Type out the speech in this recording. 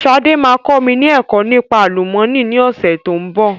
Sade máa kọ́ mi ni ẹ̀kọ́ nípa àlùmọ́nì ni ọ̀sẹ̀ tó ń bọ̀